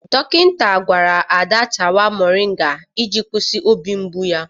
Dọkịta gwara Ada tawa moringa iji kwụsị obi mgbu ya.